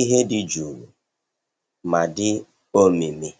ihe dị jụụ ma dị omimi.